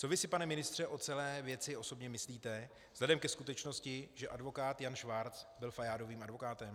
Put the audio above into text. Co vy si, pane ministře, o celé věci osobně myslíte vzhledem ke skutečnosti, že advokát Jan Švarc byl Fajádovým advokátem?